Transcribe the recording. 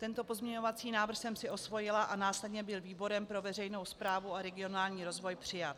Tento pozměňovací návrh jsem si osvojila a následně byl výborem pro veřejnou správu a regionální rozvoj přijat.